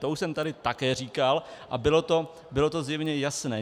To už jsem tady také říkal a bylo to zjevně jasné.